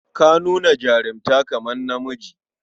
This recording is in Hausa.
Ka nuna jarunta kamar namiji.